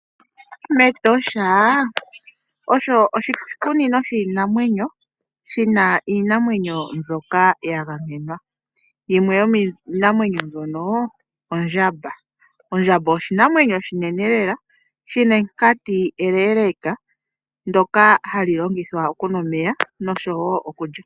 Etosha olyo oshikunino shiinamwenyo shi na iinamwenyo mbyoka ya gamenwa yimwe yo miinanwenyo mbyono ondjamba. Ondjamba oshinamwenyo oshinene lela shi na enkati eleleka ndyoka hali longithwa okunwa omeya noshowo okulya.